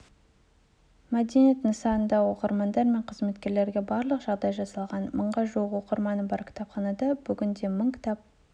мәдениет нысанында оқырмандар мен қызметкерлерге барлық жағдай жасалған мыңға жуық оқырманы бар кітапханада бүгінде мың кітап